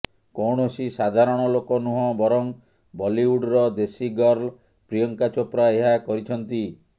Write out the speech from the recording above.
କୌଣସି ସାଧାରଣ ଲୋକ ନୁହଁ ବରଂ ବଲିଉଡ଼ର ଦେଶୀ ଗର୍ଲ ପ୍ରିୟଙ୍କା ଚୋପ୍ରା ଏହା କରିଛନ୍ତି